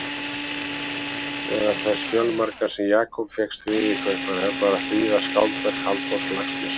Meðal þess fjölmarga sem Jakob fékkst við í Kaupmannahöfn var að þýða skáldverk Halldórs Laxness.